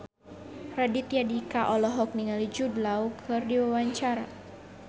Raditya Dika olohok ningali Jude Law keur diwawancara